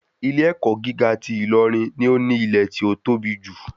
Ilé ẹ̀kọ́ gíga ti Ilorin ni ó ní ilẹ̀ tí ó tóbi jù.